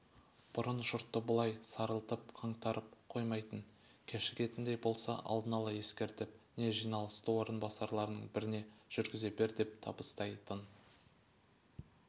бұрын жұртты бұлай сарылтып қаңтарып қоймайтын кешігетіндей болса алдын-ала ескертіп не жиналысты орынбасарларының біріне жүргізе бер деп табыстайтын